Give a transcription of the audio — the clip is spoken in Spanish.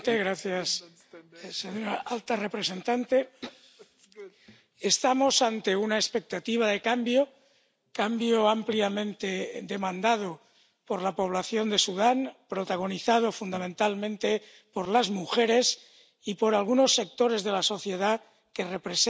Señor presidente, señora alta representante, estamos ante una expectativa de cambio. Cambio ampliamente demandado por la población de Sudán, protagonizado fundamentalmente por las mujeres y por algunos sectores de la sociedad que representan